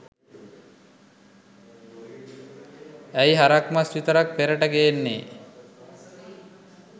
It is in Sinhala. ඇයි හරක් මස් විතරක් පෙරට ගේන්නේ.?